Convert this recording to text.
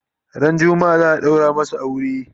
ran jumma'a zaa daura masu aure